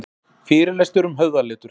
Fyrirlestur um höfðaletur